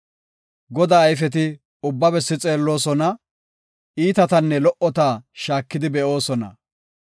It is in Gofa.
Godaa ayfeti ubba bessi xeelloosona; iitatanne lo77ota shaakidi be7oosona.